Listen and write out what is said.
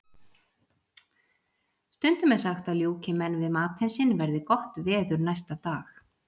Stundum er sagt að ljúki menn við matinn sinn verði gott veður næsta dag.